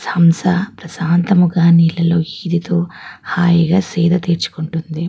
హంస ప్రశాంతముగా నీళ్ళలో ఈదుతూ హాయిగా సేద తీర్చుకుంటుంది.